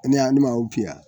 ne adama o piya